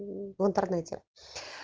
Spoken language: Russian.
в интернете